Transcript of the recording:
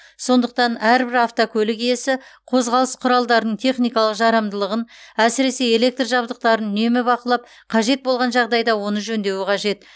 сондықтан әрбір автокөлік иесі қозғалыс құралдарының техникалық жарамдылығын әсіресе электр жабдықтарын үнемі бақылап қажет болған жағдайда оны жөндеуі қажет